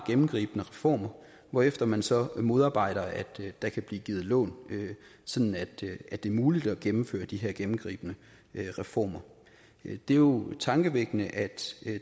gennemgribende reformer hvorefter man så modarbejder at der kan blive givet lån sådan at at det er muligt at gennemføre de her gennemgribende reformer det er jo tankevækkende at